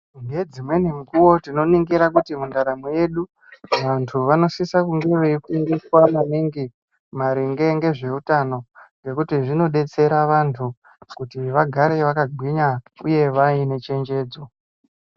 Kune dzimweni nguwa tinoningira kuti mundaramo yedu vantu vanosisa kunge veifundiswa maningi maringe nezveutano nekuti zvinodetsera vantu kuti vagare vakagwinya uye vaine chenjedzo.